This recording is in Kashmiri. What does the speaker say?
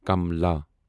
کملا